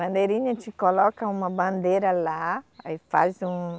Bandeirinha, a gente coloca uma bandeira lá, aí faz um...